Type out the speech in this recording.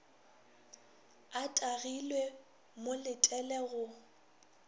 a tagilwe mo letele go